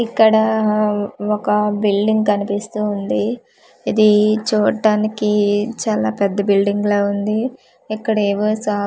ఇక్కడ ఒక బిల్డింగ్ కనిపిస్తూ ఉంది ఇది చుడ్డానికి చాలా పెద్ద బిల్డింగ్ లా ఉంది ఇక్కడ ఏవో సా--